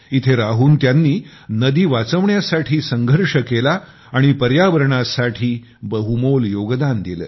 इथे राहून त्यांनी नदी वाचवण्यासाठी संघर्ष केला आणि पर्यावरणासाठी बहुमोल योगदान दिले